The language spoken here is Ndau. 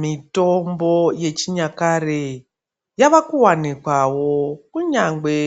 Mitombo yechinyakare, yavakuwanikwawo kunyangwe